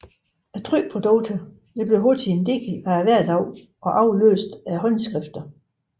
Trykprodukter blev hurtigt en del af hverdagen og afløste håndskrifter